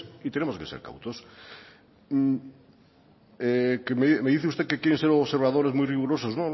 y tenemos que ser cautos me dice usted que quieren ser observadores muy rigurosos